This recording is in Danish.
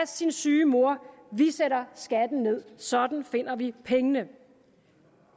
sin syge mor vi sætter skatten ned sådan finder vi pengene